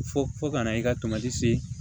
Fo fo kana i ka tomati see